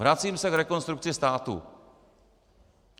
Vracím se k Rekonstrukci státu.